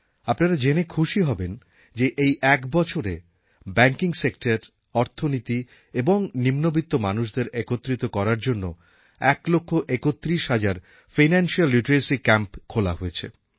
আপনারা জেনে খুশি হবেন যে এই এক বছরে ব্যাঙ্কিং সেক্টর অর্থনীতি এবং নিম্নবিত্ত মানুষদের একত্রিত করার জন্য ১ লক্ষ ৩১ হাজার ফাইনান্সিয়াল লিটারেসি ক্যাম্প খোলা হয়েছে